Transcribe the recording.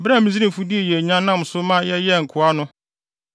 Bere a Misraimfo dii yɛn nya nam so ma yɛyɛɛ wɔn nkoa no,